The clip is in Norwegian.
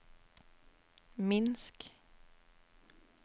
Minsk